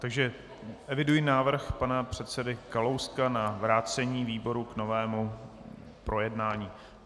Takže eviduji návrh pana předsedy Kalouska na vrácení výboru k novému projednání.